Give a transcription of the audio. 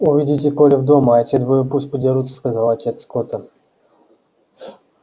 уведите колли в дом а эти двое пусть подерутся сказал отец скотта